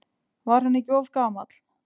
Var hann ekki of gamall?